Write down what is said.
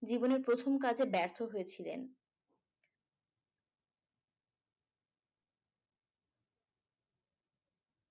জীবনের প্রথম কাজে ব্যর্থ হয়েছিলেন